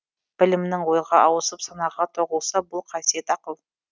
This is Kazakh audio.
білімнің ойға ауысып санаға тоқылса бұл қасиет ақыл